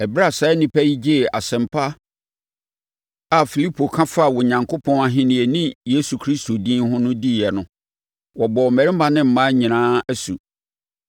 Ɛberɛ a saa nnipa yi gyee asɛmpa a Filipo ka faa Onyankopɔn Ahennie ne Yesu Kristo din no ho diiɛ no, wɔbɔɔ mmarima ne mmaa nyinaa asu.